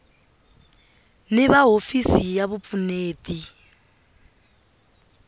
ni va hofisi ya vupfuneti